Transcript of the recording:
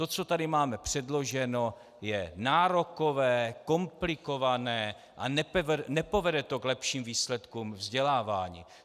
To, co tady máme předloženo, je nárokové, komplikované a nepovede to k lepším výsledkům vzdělávání.